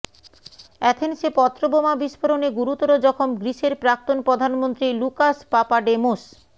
আথেন্সে পত্র বোমা বিস্ফোরণে গুরুতর জখম গ্রিসের প্রাক্তন প্রধানমন্ত্রী লুকাস পাপাডেমোস